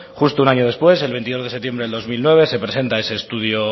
justo un año después el veintidós de septiembre dos mil nueve se presenta ese estudio